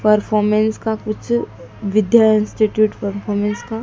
performance का कुछ Vidya institute performance का--